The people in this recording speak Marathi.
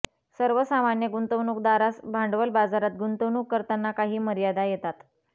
सर्वसामान्य गुंतवणूकदारास भांडवल बाजारात गुंतवणूक करताना काही मर्यादा येतात